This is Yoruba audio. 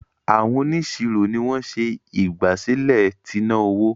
Àwọn onisiro ní wón ṣe ìgbàsílẹ̀ t'inaowó.